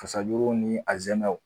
Fasajuru ni a zɛmɛnw.